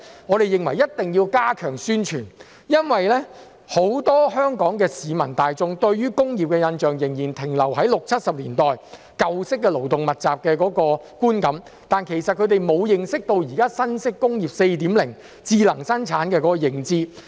我們認為一定要加強宣傳，因為很多香港市民大眾對工業的印象仍然停留在六七十年代那種舊式勞動密集工業的觀感，他們對現時新式"工業 4.0" 智能生產沒有認知。